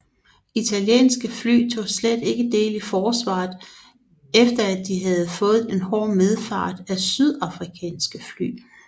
Italienske fly tog slet ikke del i forsvaret efter at de havde fået en hård medfart af sydafrikanske fly